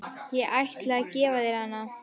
Ég ætla að gefa þér hana.